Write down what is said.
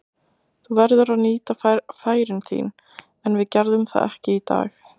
Þú verður að nýta færin þín, en við gerðum það ekki í dag.